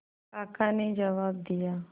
काका ने जवाब दिया